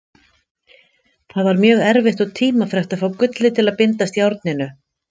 Það var mjög erfitt og tímafrekt að fá gullið til að bindast járninu.